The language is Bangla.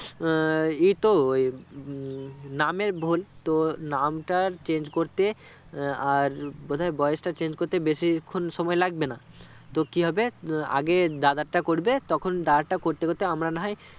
এই তো নাম ভুল তো নাম তা change করতে আহ আর বোধয় বয়েস তা change করতে বেশি খান সময় লাগবে না তো কি হবে আগে দাদারটা করবে তখন দাদারটা করতে করতে আমরা না হয়